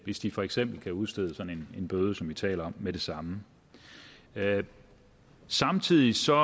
hvis de for eksempel kan udstede sådan en bøde som vi taler med det samme samtidig ser